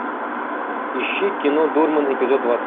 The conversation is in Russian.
ищи кино дурман эпизод двадцать